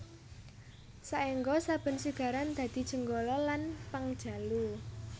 Saéngga saben sigaran dadi Janggala lan Pangjalu